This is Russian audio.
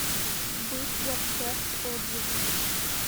бытзапчасть отзывы